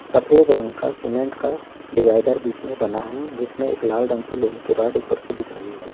सफेद रंग का सीमेंट का डडिवाइडर बीच में बना है जिसमें एक लाल रंग की रोड ऊपर से दिख रही है।